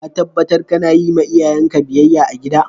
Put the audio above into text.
Ka tabatar kana yi ma iyayen ka biyyaya a'gida?